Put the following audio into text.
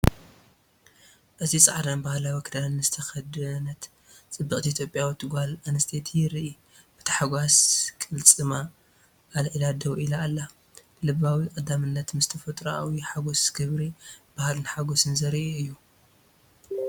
እዚ ጻዕዳን ባህላዊ ክዳንን ዝተኸድነት ጽብቕቲ ኢትዮጵያዊት ጓል ኣንስተይቲ የርኢ። ብታሕጓስ ቅልጽማ ኣልዒላ ደው ኢላ ኣላ። ልባዊ ቀዳምነት ምስ ተፈጥሮኣዊ ሓጎስ ክብሪ ባህልን ሓጎስን ዘርኢ እዩ።